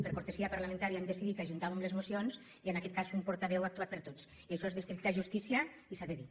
per cortesia parlamentària hem decidit que ajuntàvem les mocions i en aquest cas un portaveu ha actuat per tots i això és d’estricta justícia i s’ha de dir